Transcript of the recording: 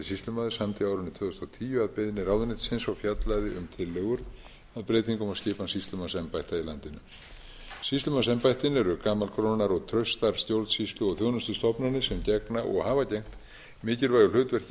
samdi á árinu tvö þúsund og tíu að beiðni ráðuneytisins og fjallaði um tillögur að breytingum á skipan sýslumannsembætta í landinu sýslumannsembættin eru gamalgrónar og traustar stjórnsýslu og þjónustustofnanir sem gegna og hafa gegnt mikilvægu hlutverki í